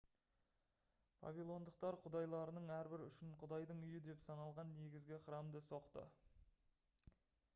вавилондықтар құдайларының әрбірі үшін құдайдың үйі деп саналған негізгі храмды соқты